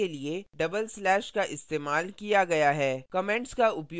यहाँ line को comment करने के लिए double slash का इस्तेमाल किया गया है